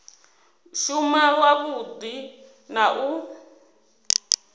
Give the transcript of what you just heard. u shuma wavhudi na u